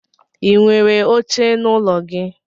Inwere oche n'ụlọ gi?